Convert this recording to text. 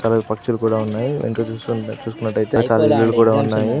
పక్షులు కూడా ఉన్నాయి. ఎనుక చూస్కున్ చూసుకున్నటయితే చాలా ఇల్లులు కూడా ఉన్నాయి.